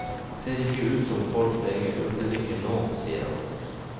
Ser ikke ut som folk trenger urtedrikken nå, sier han.